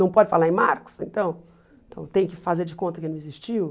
Não pode falar em Marx, então então tem que fazer de conta que ele não existiu?